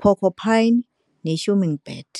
porcupine, nehummingbird.